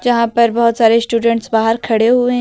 यहां पर बहोत सारे स्टूडेंट्स बाहर खड़े हुए--